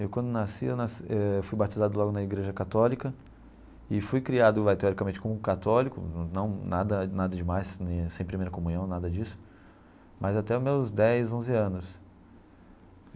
Eu, quando nasci, eu nasci eh fui batizado logo na igreja católica e fui criado teoricamente como católico, não nada nada demais, sem primeira comunhão, nada disso, mas até os meus dez, onze anos.